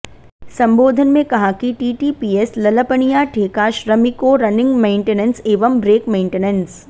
सम्बोधन में कहा कि टीटीपीएस ललपनिया ठेका श्रमिकों रनिंग मेंटेनेंस एवं ब्रेकमेंटेनेंस